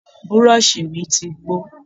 Burọ̀ṣì mi ti gbó